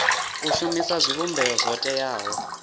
u shumisa zwivhumbeo zwo teaho